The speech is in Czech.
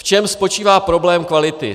V čem spočívá problém kvality?